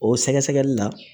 O sɛgɛsɛgɛli la